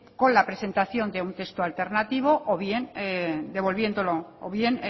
con la presentación de un texto alternativo o bien